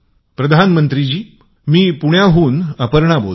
प्रधानमंत्री जी मी पुण्यावरून अपर्णा बोलते